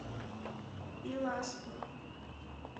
биласпур